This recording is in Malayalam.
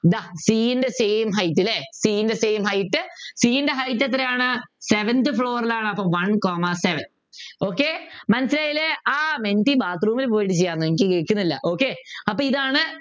ഇതാ c ൻ്റെ same height അല്ലെ c ൻ്റെ same height c ൻ്റെ height എത്രയാണ് Seventh floor ലാണ് അപ്പൊ One comma seven okay ആഹ് മെൻറ്റി bathroom ൽ പോയിട്ട് എനിക്ക് കേൾക്കുന്നില്ല okay അപ്പൊ ഇതാണ്